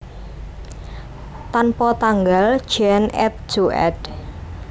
Tanpa tanggal Jean et Jo éd